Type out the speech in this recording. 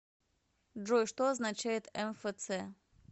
джой что означает мфц